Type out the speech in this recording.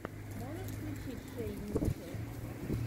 можешь включить шей митчелл